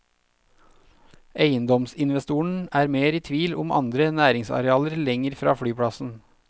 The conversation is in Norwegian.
Eiendomsinvestoren er mer i tvil om andre næringsarealer lenger fra flyplassen.